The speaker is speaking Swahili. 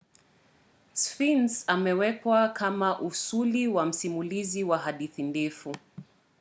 sphinx amewekwa kama usuli na msimulizi wa hadithi ndefu